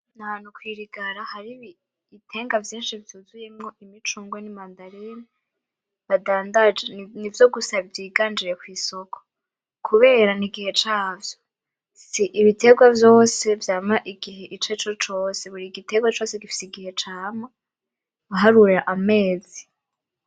Nahantu kwirigara har'ibienga vyinshi vyuzuyemwo imicungwe nimandarine badandaje, nivyo gusa vyiganje kwisoko kubera n'igihe cavyo. S'ibiterwa vyose vyama igihe icarico cose, burigiterwa cose gifise igihe cama uharuye amezi.